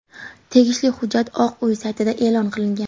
Tegishli hujjat Oq uy saytida e’lon qilingan .